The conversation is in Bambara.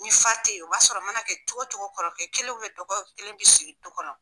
N fa teyi o b'a sɔrɔ o mana kɛ cogocogo kɔrɔkɛ kelen dɔgɔkɛ kelen bi sigi du kɔnɔ.